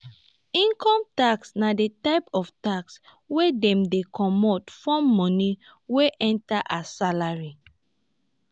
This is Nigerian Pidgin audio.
income tax na di type of tax wey dem dey comot form money wey enter as salary